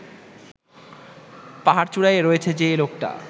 পাহাড়চূড়ায় রয়েছে যে লোকটা